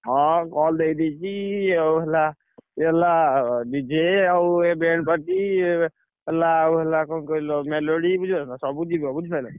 ହଁ call ଦେଇଦେଇଛି ଆଉ ହେଲା ଇଏ ହେଲା DJ ଆଉ ହେଲା ଆଉ ହେଲା କଣ କହିଲ ବୁଝିପାରୁଛ? ସବୁ ଯିବ ବୁଝି ପାଇଲ?